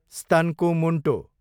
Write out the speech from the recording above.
स्तनको मुन्टो